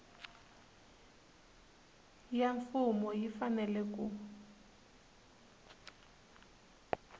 ya mfumo yi fanele ku